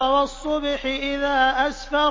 وَالصُّبْحِ إِذَا أَسْفَرَ